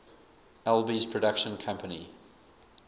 alby's production company